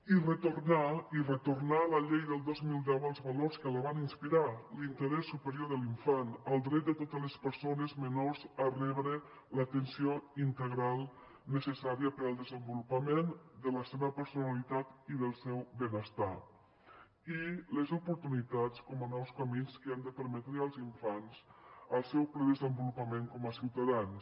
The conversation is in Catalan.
i retornar i retornar a la llei del dos mil deu els valors que van inspirar l’interès superior de l’infant el dret de totes les persones menors a rebre l’atenció integral necessària per al desenvolupament de la seva personalitat i del seu benestar i les oportunitats com a nous camins que han de permetre als infants al seu ple desenvolupament com a ciutadans